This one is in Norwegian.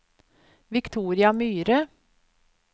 Victoria Myhre